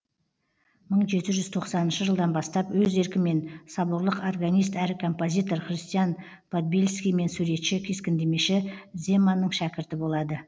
мың жеті жүз тоқсаныншы жылдан бастап өз еркімен соборлық органист әрі композитор христиан подбельский мен суретші кескіндемеші земанның шәкірті болады